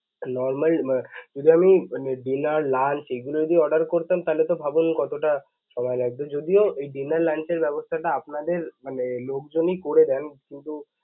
normal যদি আমি dinner, lunch এগুলো যদি order করতাম, তাহলে তো ভাবুন কতোটা সময় লাগতো. যদিও dinner, lunch এর ব্যবস্থাটা আপনাদের, মানে লোকজনই করে দেন, কিন্তু